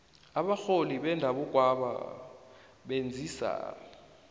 abarholi bendabukwaba benzisa